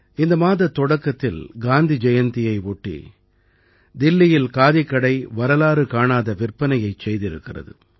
இந்த மாதத் தொடக்கத்தில் காந்தி ஜயந்தியை ஒட்டி தில்லியில் காதிக்கடை வரலாறு காணாத விற்பனையைச் செய்திருக்கிறது